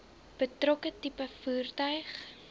betrokke tipe voertuig